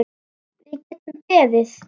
Við getum beðið.